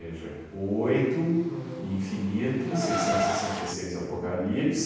oito uhum infinito, seiscentos e sessenta e seis, apocalipse